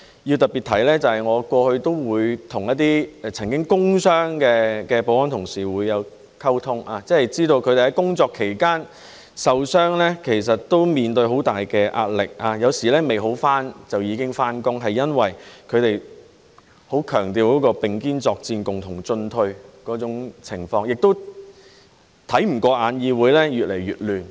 要特別提到，我過去常與一些曾受工傷的保安同事溝通，知道他們在工作期間受傷，其實面對很大壓力，有時未康復就已經上班，是因為他們很強調並肩作戰、共同進退，亦看不過眼議會越來越亂。